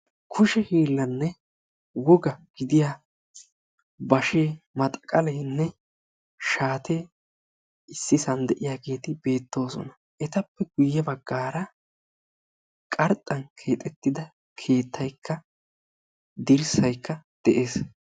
Kushe hiillanne wogaa gidiya bashee, maxaqaleenne shaatee issisan de'iyageeti beettoosona. Etappe guyye baggaara qarxxan keexettida keettaykka dirssaykka de'es.